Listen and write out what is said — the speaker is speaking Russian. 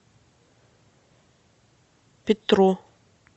петру